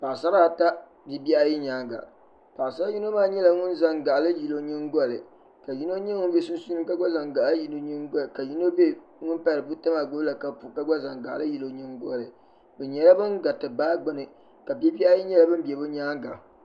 Paɣasara ata bibihiayi nyaaŋa paɣasara yino maa nyela ŋun zaŋ gaɣali yili o nyingɔli ka yino nye ŋun be sunsuuni ka gba zan gaɣali yili o nyingɔli ka yin ŋun pahari buta maa gbubila kapu ka gba zaŋ gaɣali n vuli o nyingɔli bɛ nyaaŋa bɛ nyela ban gari ti gari yi ka bibi nyela ban ku.